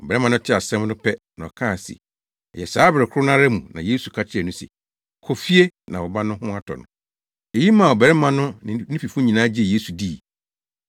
Ɔbarima no tee asɛm no pɛ na ɔkaa se ɛyɛ saa bere koro no ara mu na Yesu ka kyerɛɛ no se, “Kɔ fie na wo ba no ho atɔ no” no. Eyi maa ɔbarima no ne ne fifo nyinaa gyee Yesu dii.